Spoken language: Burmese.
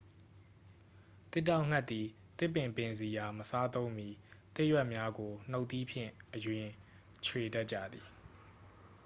သစ်တောက်ဌက်သည် သစ်ပင်ပင်စည်အား မစားသုံးမီ သစ်ရွက်များကို နူတ်သီးဖြင့်အရင် ခြွေတတ်ကြသည်